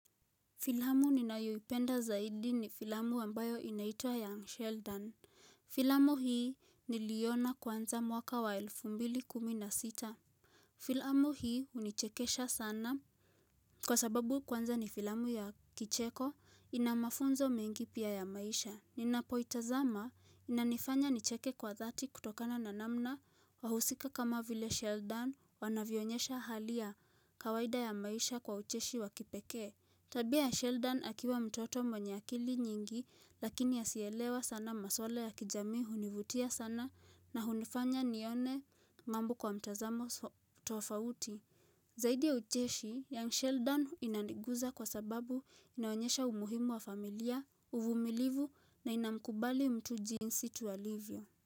Filamu ninayoipenda zaidi ni filamu ambayo inaitwa Young Sheldon. Filamu hii niliona kwanza mwaka wa elfu mbili kumina sita. Filamu hii hunichekesha sana. Kwa sababu kwanza ni filamu ya kicheko ina mafunzo mengi pia ya maisha. Ninapoitazama inanifanya nicheke kwa dhati kutokana na namna wahusika kama vile Sheldon wanavionyesha hali ya kawaida ya maisha kwa ucheshi wa kipekee. Tabia ya Sheldon akiwa mtoto mwenye akili nyingi lakini asielewa sana maswala ya kijami hunivutia sana na hunifanya nione mambo kwa mtazamo tofauti. Zaidi ya ucheshi young Sheldon inaniguza kwa sababu inaonyesha umuhimu wa familia, uvumilivu na inamkubali mtu jiinsi tu alivyo.